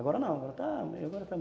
Agora não, agora está